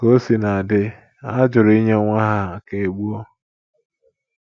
Ka o sina dị, ha jụrụ inye nwa ha ka e gbuo.